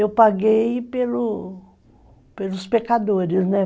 Eu paguei pelo pelos pecadores, né?